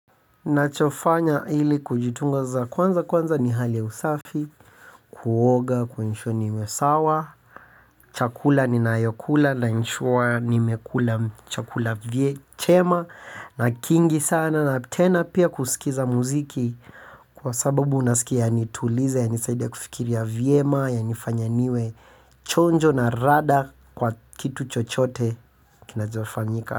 Ninachofanya ili kujitunza kwanza kwanza ni hali usafi, kuoga, kuensure nimesawa, chakula ni nayokula na naensure nimekula chakula chema na kingi sana na tena pia kusikiza muziki kwa sababu unasikia nitulize ya nisaidia kufikiria vyema yanifanya niwe chonjo na rada kwa kitu chochote kinachofanyika.